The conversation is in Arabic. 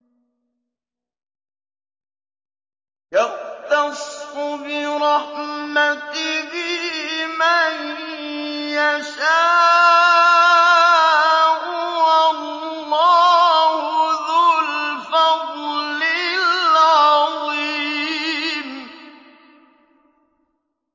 يَخْتَصُّ بِرَحْمَتِهِ مَن يَشَاءُ ۗ وَاللَّهُ ذُو الْفَضْلِ الْعَظِيمِ